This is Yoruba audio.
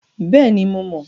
Bẹ́ẹ̀ni, mo mọ̀.